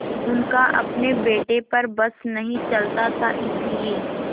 उनका अपने बेटे पर बस नहीं चलता था इसीलिए